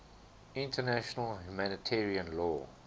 international humanitarian law